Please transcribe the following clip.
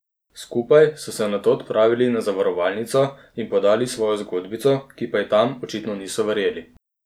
Skupaj so se nato odpravili na zavarovalnico in podali svojo zgodbico, ki pa ji tam očitno niso verjeli.